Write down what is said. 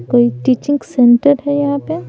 कोई teaching centre है यहाँ पे--